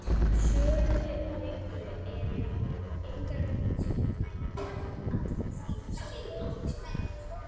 Sömu gögn eru einnig sendar utanríkismálanefnd Alþingis til upplýsingar.